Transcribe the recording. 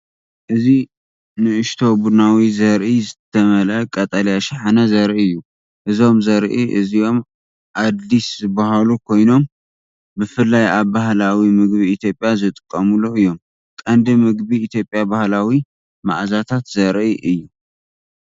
እዚ ንእሽቶ ቡናዊ ዘርኢ ዝተመልአ ቀጠልያ ሻሓነ ዘርኢ እዩ። እዞም ዘርኢ እዚኦም ኣድሊስ ዝበሃሉ ኮይኖም ብፍላይ ኣብ ባህላዊ ምግቢ ኢትዮጵያ ዝጥቀሙሉ እዮም። ንቀንዲ ምግቢ ኢትዮጵያዊ ባህላዊ መኣዛታት ዘርኢ እዩ።